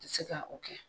Tɛ se ka o kɛ